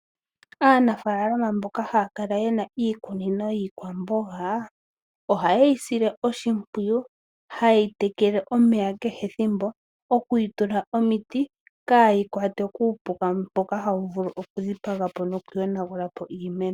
Aanafaalama mboka haya kala yena iikunino yiikwamboga, oha yeyi sile oshimpwiyu ha yeyi tekele omeya kehe ethimbo, oku yi tula omiti kaayi kwatwe kuupuka, mboka hawu vulu oku dhipaga po, noku yonagula po iimeno.